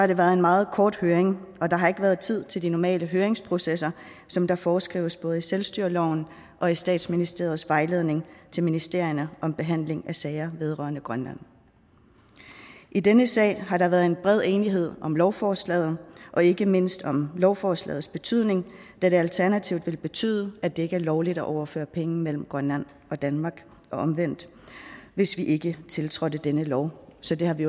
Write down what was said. det været en meget kort høring og der har ikke været tid til at de normale høringsprocesser som der foreskrives i både selvstyreloven og i statsministeriets vejledning til ministerierne om behandling af sager vedrørende grønland i denne sag har der været bred enighed om lovforslaget og ikke mindst om lovforslagets betydning da det alternativt vil betyde at det ikke er lovligt at overføre penge mellem grønland og danmark og omvendt hvis ikke vi tiltrådte denne lov så det har vi